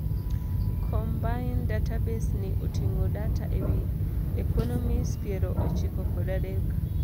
Combined database ni oting'o data ewii economies piero ochiko kod adek.